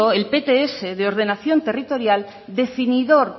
el pts de ordenación territorial definidor